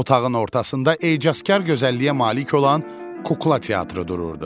Otağın ortasında ecazkar gözəlliyə malik olan kukla teatrı dururdu.